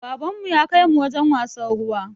Baban mu ya kai mu wajen wasan ruwa